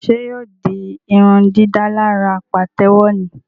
Ṣe yóò di irundidalara patewo ní?